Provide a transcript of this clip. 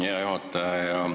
Hea juhataja!